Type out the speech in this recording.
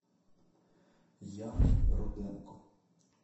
яной руденко